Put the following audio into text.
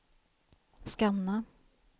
scanna